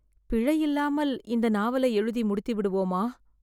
பிழை இல்லாமல் இந்த நாவலை எழுதி முடித்து விடுவோமா?